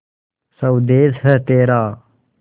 स्वदेस है तेरा